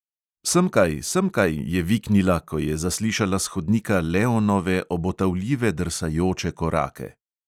"Semkaj, semkaj," je viknila, ko je zaslišala s hodnika leonove obotavljive in drsajoče korake.